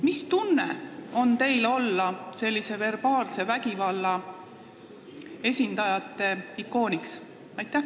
Mis tunne on teil olla sellise verbaalse vägivalla esindajate ikooniks?